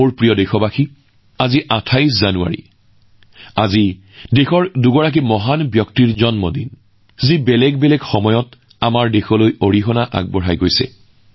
মোৰ প্ৰিয় দেশবাসীসকল আজি ২৮ জানুৱাৰীতো ভাৰতবৰ্ষৰ দুগৰাকী মহান ব্যক্তিৰ জয়ন্তী যিসকলে বিভিন্ন সময়ত দেশপ্ৰেমৰ নিদৰ্শন দাঙি ধৰিছিল